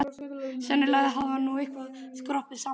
Sennilega hafði hann nú eitthvað skroppið saman með aldrinum.